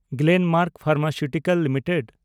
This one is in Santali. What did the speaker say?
Glenmark pharmaceutical limited